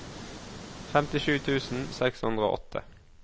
femtisju tusen seks hundre og åtte